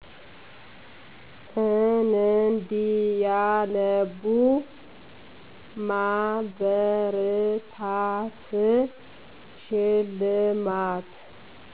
እንዲያነቡ ማበረታት፣ ሽልማት